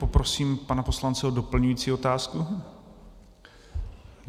Poprosím pana poslance o doplňující otázku.